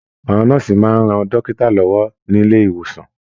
Àwọn nọ́ọ́sì máa ń rán dókítà lọwọ nilé-ìwòsàn.